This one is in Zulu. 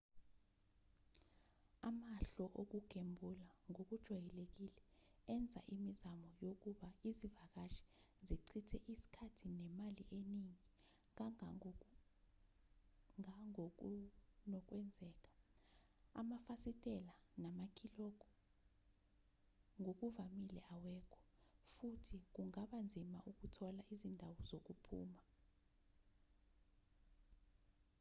amahhlo okugembula ngokujwayelekile enza imizamo yokuba izivakashi zichithe isikhathi nemali eningi ngangokunokwenzeka amafasitela namakilogo ngokuvamile awekho futhi kungaba nzima ukuthola izindawo zokuphuma